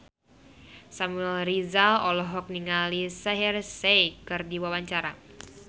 Samuel Rizal olohok ningali Shaheer Sheikh keur diwawancara